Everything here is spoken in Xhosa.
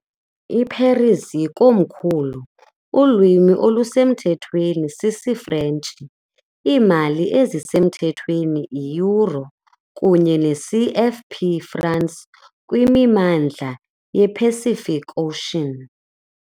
I-Paris ikomkhulu, ulwimi olusemthethweni sisiFrentshi, iimali ezisemthethweni yi- euro kunye ne- CFP franc kwimimandla ye- Pacific Ocean.